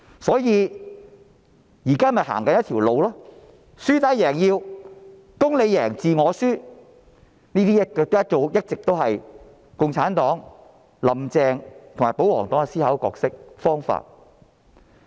所以，現在他們是輸打贏要、"公你贏，字我輸"，這一直是共產黨、"林鄭"及保皇黨的思考和做事方式。